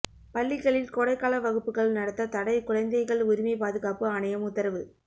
பள்ளிகளில் கோடை கால வகுப்புகள் நடத்த தடை குழந்தைகள் உரிமை பாதுகாப்பு ஆணையம் உத்தரவு